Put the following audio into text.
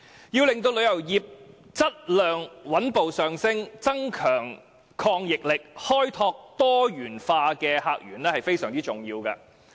要令旅遊業質量上升，增強抗逆力，開拓多元化的客源至為重要。